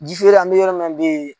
Jifeere an mɛ yɔrɔ min na bi